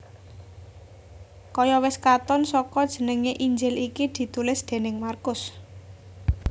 Kaya wis katon saka jenengé Injil iki ditulis déning Markus